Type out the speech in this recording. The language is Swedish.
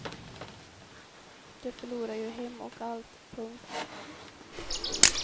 De förlorar ju hem och allt. punkt